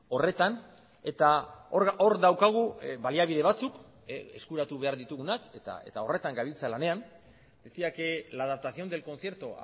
horretan eta hor daukagu baliabide batzuk eskuratu behar ditugunak eta horretan gabiltza lanean decía que la adaptación del concierto